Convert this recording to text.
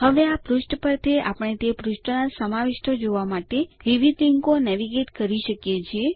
હવે આ પૃષ્ઠ પરથી આપણે તે પૃષ્ઠોના સમાવિષ્ટો જોવા માટે વિવિધ લીન્કો નેવિગેટ કરી શકીએ છીએ